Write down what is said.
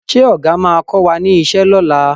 Ṣé ọ̀gà máa kọ wá ní ìṣe ni ọ̀la?